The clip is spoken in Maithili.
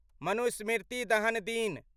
मनुस्मृति दहन दिन